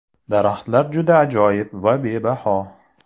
Daraxtlar juda ajoyib va bebaho.